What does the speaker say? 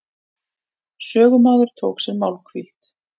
Sögumaður tók sér málhvíld.